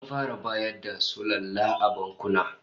An fara bayar da sulalla a bankuna